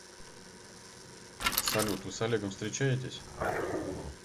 салют вы с олегом встречаетесь